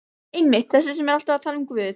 Einmitt- þessi sem er alltaf að tala um Guð.